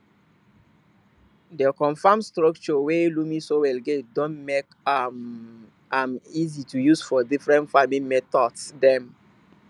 di confam stucture wey loamy soil get don make um am easy to use for different farming methods dem